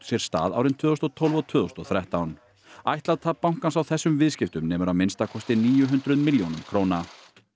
sér stað árin tvö þúsund og tólf og tvö þúsund og þrettán ætlað tap bankans á þessum viðskiptum nemur að minnsta kosti níu hundruð milljónum króna